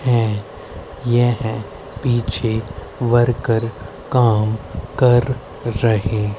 है यह पीछे वर्कर काम कर रहे--